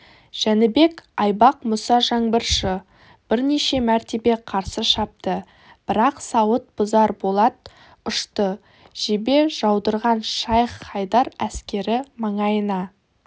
жәнібек айбақ мұса жаңбыршы бірнеше мәртебе қарсы шапты бірақ сауыт бұзар болат ұшты жебе жаудырған шайх-хайдар әскері маңайына